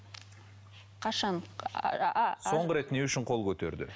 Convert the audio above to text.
қашан ааа соңғы рет не үшін қол көтерді